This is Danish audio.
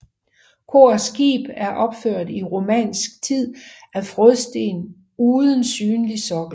Kor og skib er opført i romansk tid af frådsten uden synlig sokkel